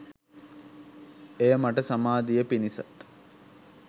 එය මට සමාධිය පිණිසත්